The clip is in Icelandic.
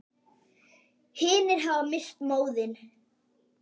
Hinir hafa misst móðinn.